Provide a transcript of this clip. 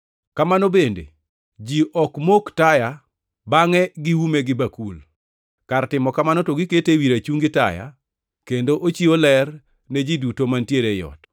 Kamano bende, ji ok mok taya bangʼe giume gi bakul. Kar timo kamano to gikete ewi rachungi taya kendo ochiwo ler ne ji duto mantiere ei ot.